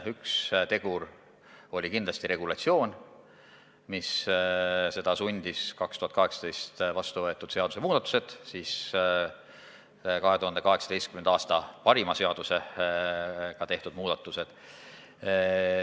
Üks tegur oli kindlasti regulatsioon, mis seda sundis – 2018. aastal vastu võetud seadusemuudatused, täpsemalt 2018. aasta parima seadusega tehtud muudatused.